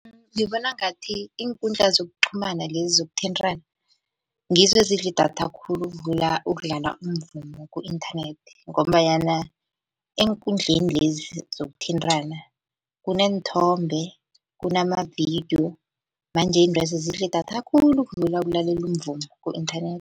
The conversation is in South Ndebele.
Ngibona ngathi iinkundla zokuqhumana lezi zokuthintana ngizo ezidla idatha khulu ukudlula ukudlala umvumo ku-inthanethi, ngombanyana eenkundleni lezi zokuthintana kuneenthombe kunamavidiyo manje intwezi zidla idatha khulu ukudlula ukulalela umvumo ku-inthanethi.